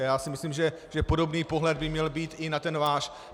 A já si myslím, že podobný pohled by měl být i na ten váš.